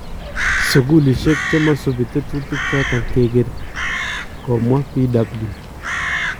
Sukulisyek chemasubii tetuutiik choton kekeree ", komwaa Bw.